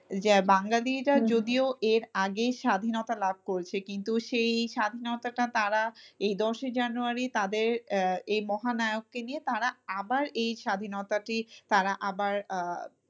যে বাঙালিরা যদিও এর আগেই স্বাধীনতা লাভ করেছে কিন্তু সেই স্বাধীনতাটা তারা এই দশই জানুয়ারি তাদের আহ এই মহানায়ককে নিয়ে তারা আবার এই স্বাধীনতাটি তারা আবার আহ